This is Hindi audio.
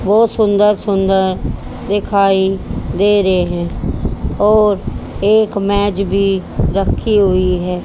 बहोत सुंदर सुंदर दिखाई दे रहे हैं और एक मेज भी रखी हुई है।